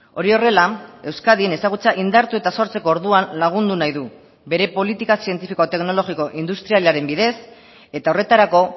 hori horrela euskadin ezagutza indartu eta sortzeko orduan lagundu nahi du bere politika zientifikoa teknologiko industrialaren bidez eta horretarako